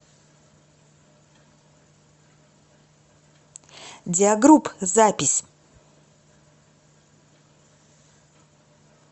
диагрупп запись